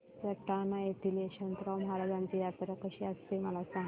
सटाणा येथील यशवंतराव महाराजांची यात्रा कशी असते मला सांग